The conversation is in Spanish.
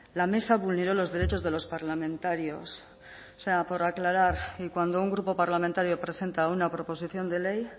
la mesa vulneró los derechos de los parlamentarios o sea por aclarar y cuando un grupo parlamentario presenta una proposición de ley